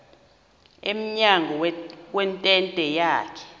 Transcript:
emnyango wentente yakhe